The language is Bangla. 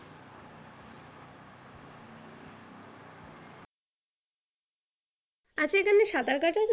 আচ্ছা এখানে সাঁতার কাটা যা